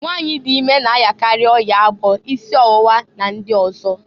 Nwanyị dị ime na ayakarị ọya agbọ, isi ọwụwa, na ndị ọzọ.